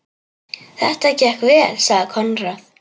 Þetta gekk vel, sagði Konráð.